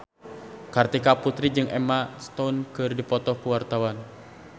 Kartika Putri jeung Emma Stone keur dipoto ku wartawan